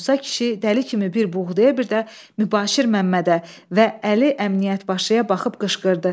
Musa kişi dəli kimi bir buğdaya, bir də Mübaşir Məmmədə və Əli Əmniyyət başıya baxıb qışqırdı.